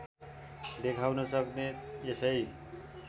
देखाउन सक्ने यसै